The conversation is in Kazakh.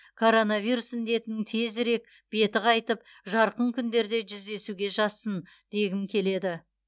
коронавирус індетінің тезірек беті қайтып жарқын күндерде жүздесуге жазсын дегім келеді